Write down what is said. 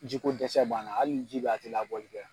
Ji ko dɛsɛ b'an na hali ni ji bɛ ye a tɛ labɔli kɛ.